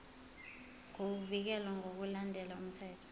nokuvikelwa ngokulandela umthetho